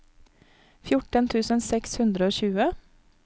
fjorten tusen seks hundre og tjue